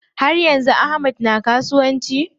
Har yanzu Ahmad na kasuwanci?